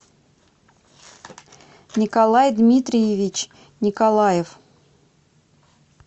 николай дмитриевич николаев